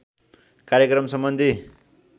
कार्यक्रम सम्बन्धी